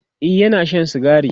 e Yana Shan sigari